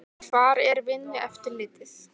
Hvar er Vinnueftirlitið?